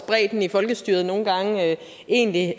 bredden i folkestyret egentlig